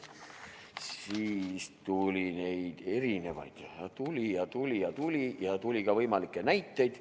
Siis tuli neid erinevaid veel, tuli ja tuli ja tuli, ja tuli ka võimalikke näiteid.